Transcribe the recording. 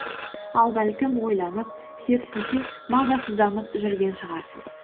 ал бәлкім ойланып керісінше мазасызданып жүрген шығарсыз